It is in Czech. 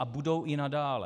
A budou i nadále.